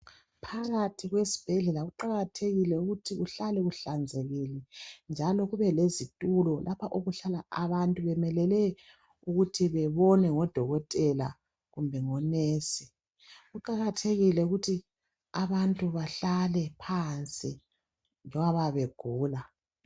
Phakathi kwesibhedlela kuqakathekile ukuthi kuhlale kuhlanzekile njalo kube lezitulo lapha okuhlala abantu bemelele ukuthi bebonwe ngodokotela kumbe ngonesi. Kuqakathekile ukuthi abantu bahlale phansi ngengoba bayabe begula.